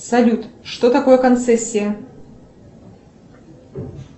салют что такое концессия